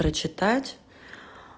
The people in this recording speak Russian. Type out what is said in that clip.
прочитать